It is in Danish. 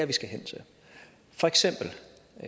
vi skal hen til